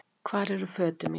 Hvar eru fötin mín?